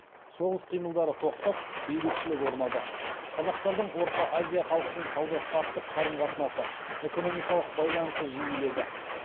соғыс қимылдары тоқтап бейбітшілік орнады қазақтардың орта азия халқымен сауда саттық қарым қатынасы экономикалық байланысы жиіледі